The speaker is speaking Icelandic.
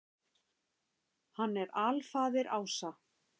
Hann er alfaðir ása.